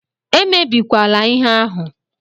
Emebikwala ihe ahụ!